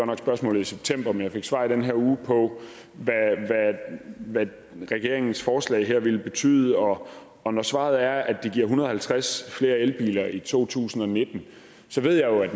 nok spørgsmålet i september men jeg fik svar i den her uge på hvad regeringens forslag her vil betyde og og når svaret er at det giver en hundrede og halvtreds flere elbiler i to tusind og nitten ved jeg jo at